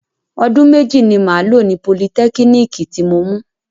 Ọdún méjì ni màá lọ ní politẹ́kínìkì tí mo mú